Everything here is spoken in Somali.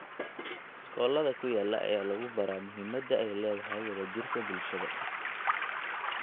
Iskoolada ku yaala ayaa lagu baraa muhiimada ay leedahay wada jirka bulshada.